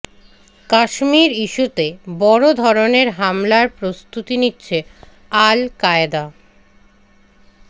কাশ্মীর ইস্যুতে বড় ধরনের হামলার প্রস্তুতি নিচ্ছে আল কায়েদা